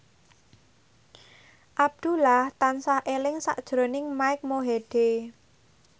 Abdullah tansah eling sakjroning Mike Mohede